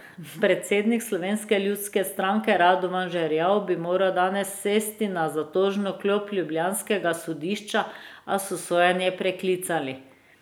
Predsednik Slovenske ljudske stranke Radovan Žerjav bi moral danes sesti na zatožno klop ljubljanskega sodišča, a so sojenje preklicali.